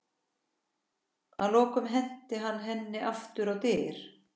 Að lokum henti hann henni aftur á dyr.